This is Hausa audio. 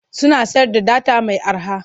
Suna sayar da data mai arha.